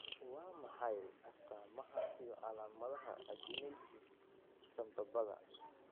Waa maxay astamaha iyo calaamadaha agenesis sambabada?